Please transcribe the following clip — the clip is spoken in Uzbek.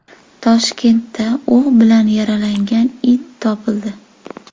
Toshkentda o‘q bilan yaralangan it topildi.